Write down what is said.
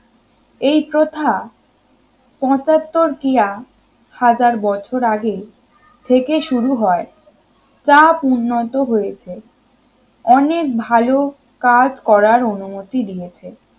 এই প্রথা পঁচাত্তর কিয়া হাজার বছর আগে থেকে শুরু হয় তা উন্নত হয়েছে অনেক ভালো কাজ করার অনুমতি দিয়েছে